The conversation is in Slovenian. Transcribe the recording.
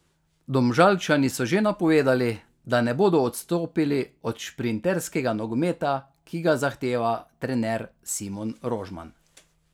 Domžalčani so že napovedali, da ne bodo odstopili od šprinterskega nogometa, ki ga zahteva trener Simon Rožman.